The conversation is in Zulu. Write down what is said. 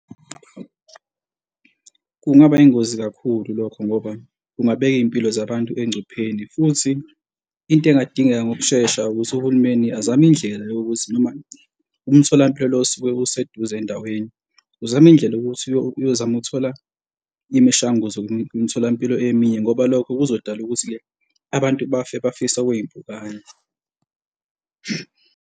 Kungaba ingozi kakhulu lokho ngoba kungabeka iy'mpilo zabantu engcupheni. Futhi into engadingeka ngokushesha ukuthi uhulumeni azame indlela yokuthi noma umtholampilo lo osuke useduze ey'ndaweni, uzame indlela yokuthi uyozama ukuthola imishanguzo emtholampilo eminye ngoba lokho kuzodala ukuthi-ke abantu bafe bafise okwey'mpukane.